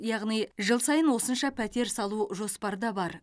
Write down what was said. яғни жыл сайын осынша пәтер салу жоспарда бар